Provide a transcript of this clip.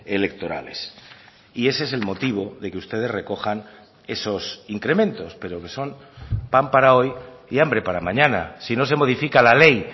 electorales y ese es el motivo de que ustedes recojan esos incrementos pero que son pan para hoy y hambre para mañana si no se modifica la ley